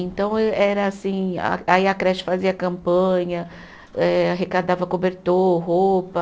Então, eh era assim, a aí a creche fazia campanha, eh arrecadava cobertor, roupa.